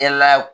Kɛlaw